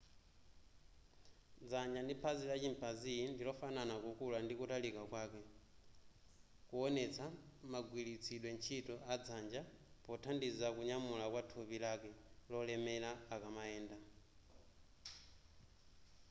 dzanja ndi phazi la chimpanzee ndilofanana kukula ndi kutalika kwake kuwonetsa magwiritsidwe ntchito a dzanja pothandiza kunyamula kwa thupi lake lolemera akamayenda